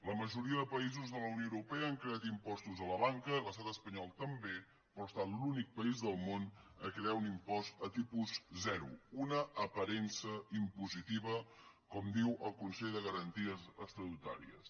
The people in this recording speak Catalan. la majoria de països de la unió europea han creat impostos a la banca l’estat espanyol també però ha estat l’únic país del món a crear un impost a tipus zero una aparença impositiva com diu el consell de garanties estatutàries